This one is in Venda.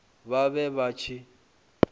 vhe vha vha vha tshi